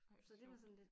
Ej hvor sjovt